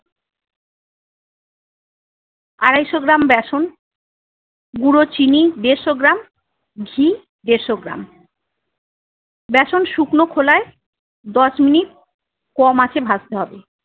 আড়াইশো গ্রাম ব্যাসন গুঁড়ো চিনি দেড়শো গ্রাম ঘি দেড়শো গ্রাম ব্যাসন শুকনো খোলায় দশ মিনিট কম আঁচে ভাজতে হবে।